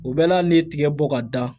U bɛɛ la hali n'i ye tigɛ bɔ ka da